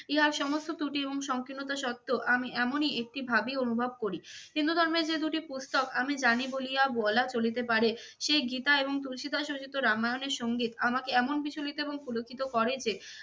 ইহার সমস্ত ত্রুটি এবং সংকীর্ণতা সত্ত্বেও আমি এমনই একটি ভাবই অনুভব করি। হিন্দু ধর্মে যে দুটি পুস্তক আমি জানি বলিয়া বলা চলিতে পারে সে গীতা এবং তুলসি দাস রচিত রামায়ণের সংগীত আমাকে এমন বিচলিত এবং পুলকিত করে যে